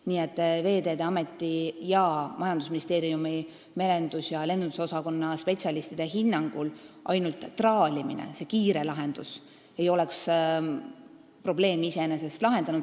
Nii et Veeteede Ameti ning majandusministeeriumi merendus- ja lennundusosakonna spetsialistide hinnangul ainult traalimine, see kiire lahendus, ei oleks probleemi iseenesest lahendanud.